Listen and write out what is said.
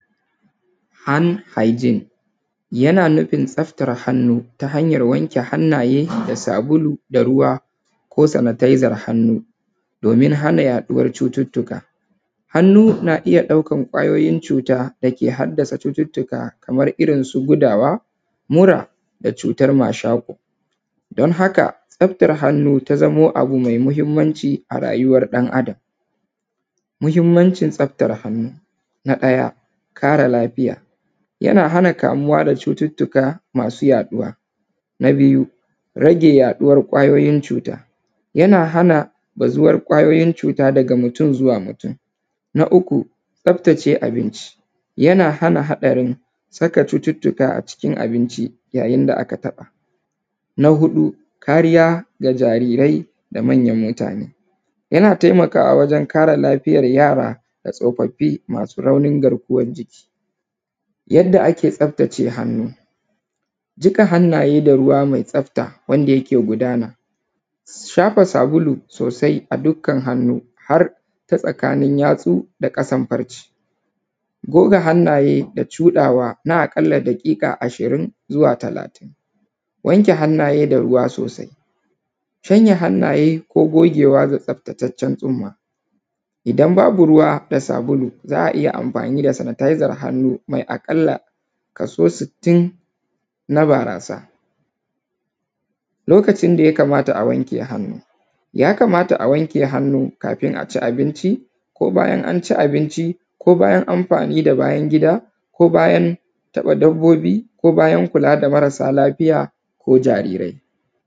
Hand hygiene yana nufin tsaftar hannu ta hanyar wanke hannaye da sabulu da ruwa ko sanitezar hannu domin hana yaɗuwar cututtuka. Hannu na iya ɗaukar ƙwayoyin cuta da ke haddasa cututtuka kamar irin su gudawa, mura da cutar mashaƙo. Don haka, tsaftar hannu ta zamo abu mai muhimmanci a rayuwar ɗan Adam. Muhimmancin tsaftar hannu: na ɗaya, kare lafiya:- yana hana kamuwa da cututtuka masu yaɗuwa. Na biyu, rage yaɗuwar ƙwayoyin cuta:- yana hana bazuwar ƙwayoyin cuta daga mutum zuwa mutum. Na uku, tsaftace abinci:- yana hana haɗarin saka cututtuka a cikin abinci yayin da aka taɓa. Na huɗu, kariya ga jarirai da manyan mutane:- yana taimakwa wajen kare lafiyar yara da Tsofaffi masu raunin garkuwar jiki. Yadda ake tsaftace hannu:- jiƙa hannaye da ruwa mai tsafta wanda yake gudana. Shafa sabulu sosai a dukkan hannu har ta tsakanin yatsu da ƙasan farce. Goga hannaye da cuɗawa na a ƙalla daƙiƙa ashirin zuwa talatin. Wanke hannaye da ruwa sosai. Shanya hannaye ko gogewa da tsaftataccen tsumma. Idan babu ruwa da sabulu, za a iya amfani da sanitezar hannu mai a ƙalla kaso sittin na barasa. Lokacin da ya kamata a wanke hannu: ya kamata a wanke hannu kafin a ci abinci, ko bayan an ci abinci ko bayan amfani da bayan gida ko bayan taɓa dabbobi ko bayan kula da marasa lafiya ko jarirai.